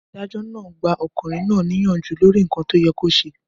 Adájọ́ náà ba arákùnrin na niyanju lòrínkan to yẹ ko ṣe.